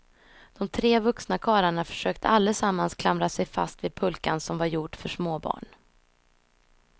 De tre vuxna karlarna försökte allesammans klamra sig fast vid pulkan som var gjord för småbarn.